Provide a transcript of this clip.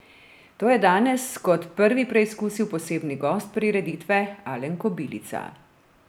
To je danes kot prvi preizkusil posebni gost prireditve Alen Kobilica.